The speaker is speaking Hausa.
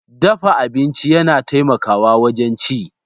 Dafa abinci yana taimakawa wajen ci.